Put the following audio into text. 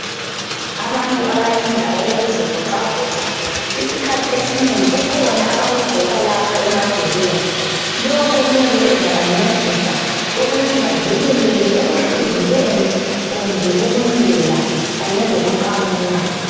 Abantu abayenza okokuzi voxavoxa ,isikhathi esinengi kukhona abaku gqoka lapha emadolweni lokho kuyabe kuzabancedisa ukuthi bavikeleke ekuhluzukeni kumbe ukunyela ,kanye lokuqamuka .